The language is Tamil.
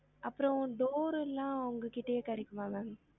அப்பறம் door எல்லாம் உங்க கிட்டயே கிடைகுமா ma'am?